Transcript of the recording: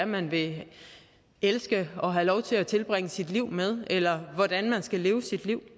man vil elske og have lov til at tilbringe sit liv med eller hvordan man skal leve sit liv